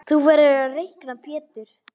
Þú verður að reikna Pétur.